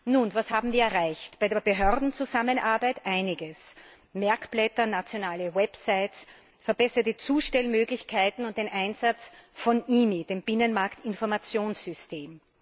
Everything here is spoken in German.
Nun, was haben wir erreicht? Bei der Behördenzusammenarbeit einiges Merkblätter, nationale Websites, verbesserte Zustellmöglichkeiten und den Einsatz von IMI, dem Binnenmarktinformationssystem.